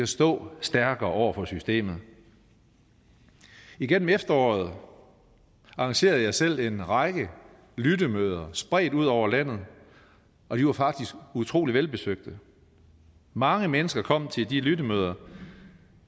stå stærkere over for systemet igennem efteråret arrangerede jeg selv en række lyttemøder spredt ud over landet og de var faktisk utrolig velbesøgte mange mennesker kom til de lyttemøder